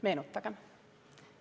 Meenutagem.